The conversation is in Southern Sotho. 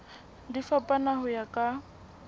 di fapana ho ya ka